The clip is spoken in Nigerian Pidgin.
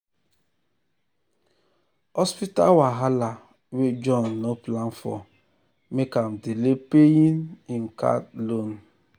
hospital wahala wey john no plan for make am delay paying paying him card loan.